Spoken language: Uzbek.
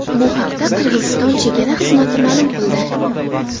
Bu haqda Qirg‘iziston chegara xizmati ma’lum qildi .